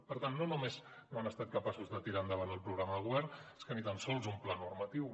per tant no només no han estat capaços de tirar endavant el programa de govern és que ni tan sols un pla normatiu